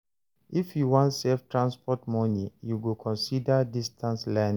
If you wan save transport moni, you go consider distance learning.